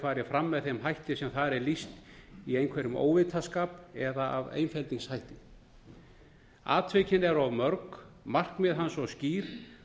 farið fram með þeim hætti sem þar er lýst í einhverjum óvitaskap eða af einfeldningshætti atvikin eru of mörg markmið hans svo skýr